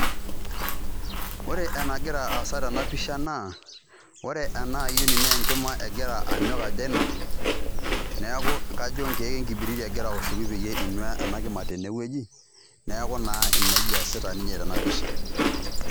ore enagira aasa tena pisha naa ore enaa ayioni naa enkima egira anyok ajo ainok niaku kajo kenkiek enkibiriti egira aoshoki peyie inua ena kima tene wueji niaku naa nejia eesita ninye tena pisha